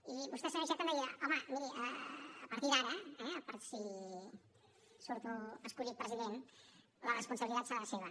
i vostè senyor iceta em deia home miri a partir d’ara eh per si surto escollit president la responsabilitat serà seva